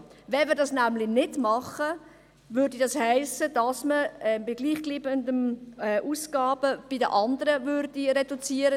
Wenn wir das nämlich nicht tun, würde das heissen, dass wir bei gleichbleibenden Ausgaben bei den anderen reduzieren.